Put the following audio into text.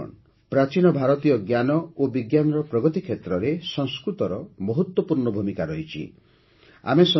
ସାଥିଗଣ ପ୍ରାଚୀନ ଭାରତୀୟ ଜ୍ଞାନ ଓ ବିଜ୍ଞାନର ପ୍ରଗତି କ୍ଷେତ୍ରରେ ସଂସ୍କୃତର ମହତ୍ତ୍ୱପୂର୍ଣ୍ଣ ଭୂମିକା ରହିଛି